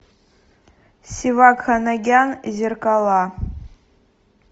севак ханагян зеркала